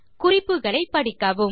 குறிப்புகளை படிக்கவும்